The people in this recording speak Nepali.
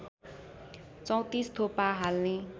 ३४ थोपा हाल्ने